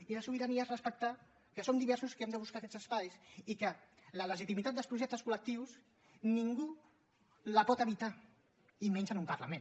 i la sobirania és respectar que som diversos que hem de buscar aquests espais i que la legitimitat dels projectes col·lectius ningú la pot evitar i menys en un parlament